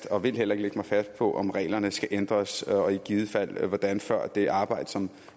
og vil heller ikke lægge mig fast på om reglerne skal ændres og i givet fald hvordan før det arbejde som